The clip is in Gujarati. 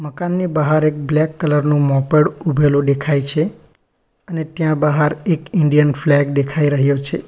દુકાનની બહાર એક બ્લેક કલર નું મોપેડ ઊભેલું દેખાય છે અને ત્યાં બહાર એક ઇન્ડિયન ફ્લેગ દેખાઈ રહ્યો છે.